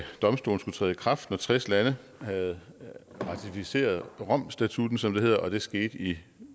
domstolen skulle træde i kraft når tres lande havde ratificeret rom statutten som det hedder og det skete i